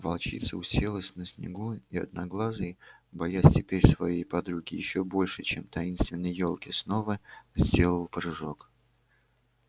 волчица уселась на снегу и одноглазый боясь теперь своей подруги ещё больше чем таинственной ёлки снова сделал прыжок